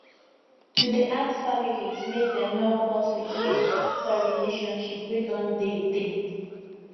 to dey ask families make dem help us with money fit spoil relationship wey don dey tey